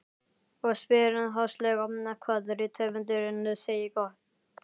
Og spyr háðslega hvað rithöfundurinn segi gott.